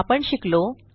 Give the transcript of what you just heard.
आपण शिकलो